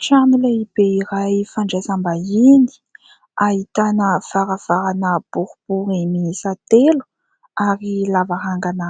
Trano iray be ray fandraisam-bahiny ahitana varavarana boribory miisa telo ary lavarangana